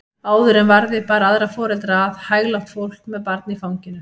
Áður en varði bar aðra foreldra að, hæglátt fólk með barn í fanginu.